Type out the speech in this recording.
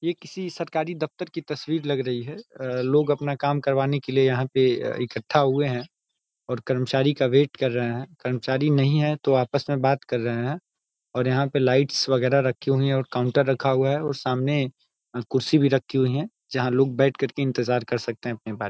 ये किसी सरकारी दफ्तर की तस्वीर लग रही है। अ लोग अपना काम करवाने के लिए यहाँ पे इकठ्ठा हुए है और कर्मचारी का वेट कर रहे हैं। कर्मचारी नही आया तो आपस में बात कर रहे हैं और यहाँ पे लाइट्स वगैरह रखी हुए हैं और काउंटर रखा हुआ है और सामने कुर्सी भी रखी हुई है। जहाँ लोग बैठ के इंतज़ार कर सकते है अपनी बारी --